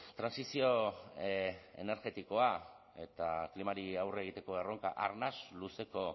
trantsizio energetikoa eta klimari aurre egiteko erronka arnas luzeko